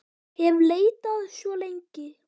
hef leitað svo lengi.